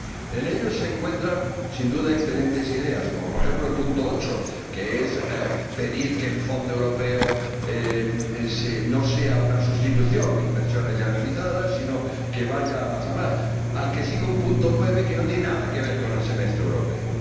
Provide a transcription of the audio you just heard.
En él se encuentran, sin duda, excelentes ideas, como, por ejemplo, el apartado 8, que es pedir que el Fondo Europeo no sea una sustitución de inversiones ya realizadas, sino que vaya más lejos le sigue un apartado 9 que no tiene nada ver con el Semestre Europeo.